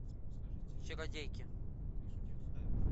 чародейки